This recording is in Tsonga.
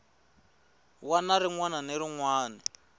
wana ni rin wana ra